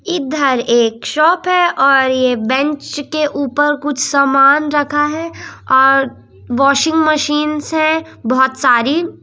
इधर एक शॉप है और ये बैंच के ऊपर कुछ सामान रखा है और वाशिंग मशीन्स हैं बहोत सारी--